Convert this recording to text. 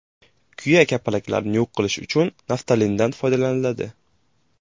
Kuya kapalaklarni yo‘q qilish uchun naftalindan foydalaniladi.